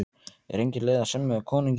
Er engin leið að semja við konunginn?